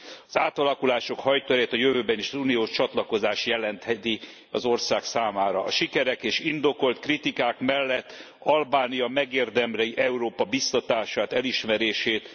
Az átalakulások hajtóerejét a jövőben is az uniós csatlakozás jelentheti az ország számára. A sikerek és indokolt kritikák mellett Albánia megérdemli Európa biztatását, elismerését.